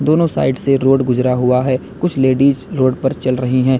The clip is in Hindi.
दोनों साइड से रोड गुजरा हुआ है कुछ लेडिस रोड पर चल रही हैं।